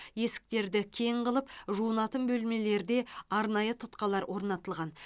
есіктерді кең қылып жуынатын бөлмелерде арнайы тұтқалар орнатылған